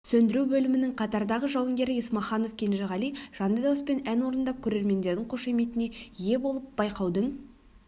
сөндіру бөлімінің қатардағы жауынгері есмаханов кенжеғали жанды дауыспен ән орындап көрермендердің қошеметіне ие болып байқаудың